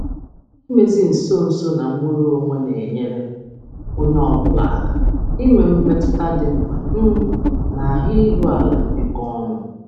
Idozi nso na nnwere onwe nnwere onwe na-enyere onye ọ bụla aka inwe mmetụta nke na-eto ya ma nwee ahụ iru ala n'ibikọ.